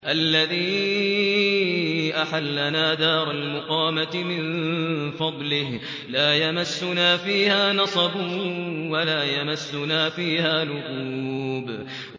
الَّذِي أَحَلَّنَا دَارَ الْمُقَامَةِ مِن فَضْلِهِ لَا يَمَسُّنَا فِيهَا نَصَبٌ وَلَا يَمَسُّنَا فِيهَا لُغُوبٌ